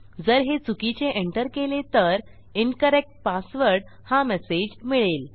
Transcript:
जर हे चुकीचे एंटर केले तर इन्करेक्ट पासवर्ड हा मेसेज मिळेल